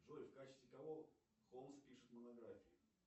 джой в качестве кого холмс пишет монографию